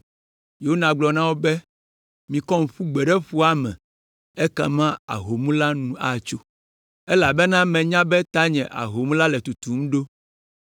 Yona gblɔ na wo be, “Mikɔm ƒu gbe ɖe ƒua me ekema ahom la nu atso. Elabena menya be tanye ahom la le tutum ɖo.”